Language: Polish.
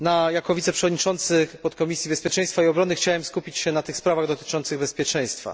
Jako wiceprzewodniczący Podkomisji Bezpieczeństwa i Obrony chciałbym skupić się na sprawach dotyczących bezpieczeństwa.